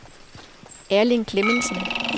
Erling Klemmensen